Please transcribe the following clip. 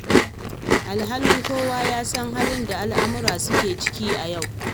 Alhali kowa ya san halin da al'umma suke ciki a yau?